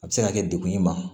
A bɛ se ka kɛ dekun ye ma